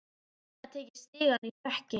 Hafði greinilega tekið stigann í stökki.